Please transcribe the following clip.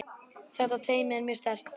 Þetta teymi er mjög sterkt.